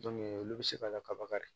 olu bɛ se ka lakaba de